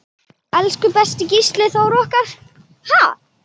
Elsku besti Gísli Þór okkar.